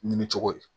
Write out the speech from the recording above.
Ɲinicogo ye